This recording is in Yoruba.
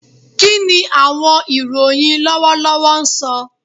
Kini awọn iroyin lọwọlọwọ sọ?